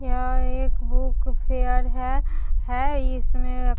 यहाँ एक book fair है इसमें --